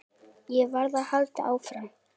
Ég varð að halda áfram.